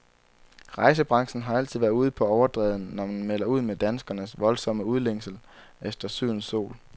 Rejsebranchen har altid været ude på overdrevet, når man melder ud med danskernes voldsomme udlængsel efter sydens sol.